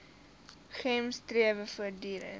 gems strewe voortdurend